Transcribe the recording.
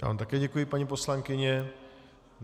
Já vám také děkuji, paní poslankyně.